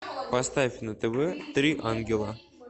поставь на тв три ангела